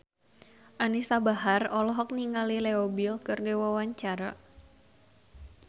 Anisa Bahar olohok ningali Leo Bill keur diwawancara